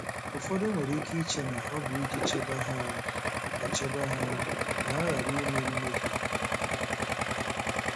Ụfọdụ nwere ike iche na ọ bụ iji chebe ha ka chebe ha ka ha ghara ime mmehie.